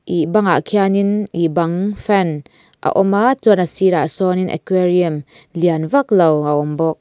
ihh bangah khian in ihh bang fan a awm a chuan a sirah sawn in aquarium lian vak lo a awm bawk.